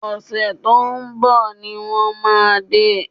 Ọ̀sẹ̀ tó ń bọ̀ ni wọ́n máa dé